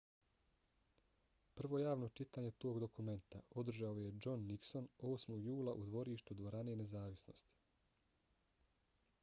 prvo javno čitanje tog dokumenta održao je john nixon 8. jula u dvorištu dvorane nezavisnosti